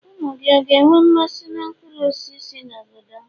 umu-gi, ọ̀ga enwe mmasi n' nkpuru-osisi si n'obodom?